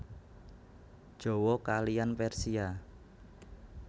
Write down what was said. Jawa kaliyan Persia